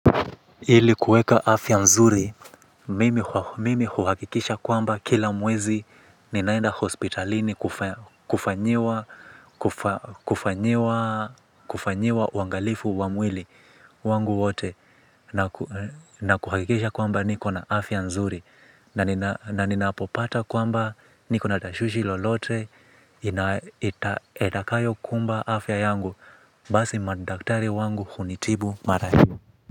Ili kuweka afya mzuri, mimi huhakikisha kwamba kila mwezi ninaenda hospitalini kufanyiwa kufanyiwa uangalifu wa mwili wangu wote na kuhakikisha kwamba niko na afya mzuri na ninapopata kwamba niko na tashwishi lolote itakayokumba afya yangu basi madaktari wangu hunitibu mara hio.